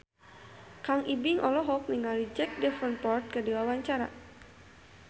Kang Ibing olohok ningali Jack Davenport keur diwawancara